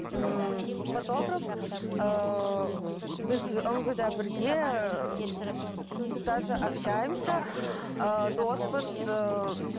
ммм фотограф ыыы мхм біз да бірге даже общаемся ыыы доспыз ыыы